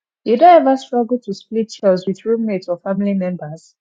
you don ever struggle to split chores with roommate or family members